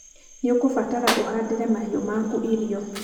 nĩũkũbatara ũhandĩre mahĩũ maku irio.